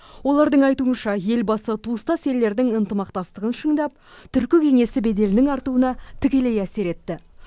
олардың айтуынша елбасы туыстас елдердің ынтымақтастығын шыңдап түркі кеңесінің беделінің артуына тікелей әсер етті